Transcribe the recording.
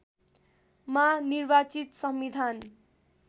मा निर्वाचित संविधान